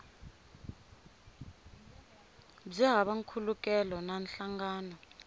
byi hava nkhulukelano na nhlangano